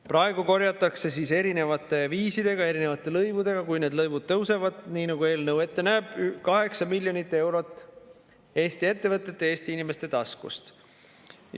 Praegu korjatakse erinevate viisidega, erinevate lõivudega, kui need lõivud tõusevad, nii nagu eelnõu ette näeb, 8 miljonit eurot kokku Eesti ettevõtete ja Eesti inimeste taskust.